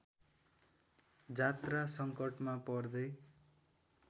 जात्रा सङ्कटमा पर्दै